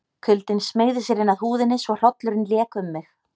Kuldinn smeygði sér inn að húðinni svo hrollurinn lék um mig.